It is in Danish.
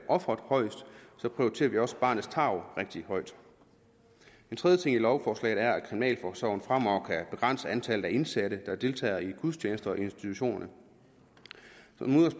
offeret højest så prioriterer vi også barnets tarv rigtig højt en tredje ting i lovforslaget er at kriminalforsorgen fremover kan begrænse antallet af indsatte der deltager i gudstjenester i institutionerne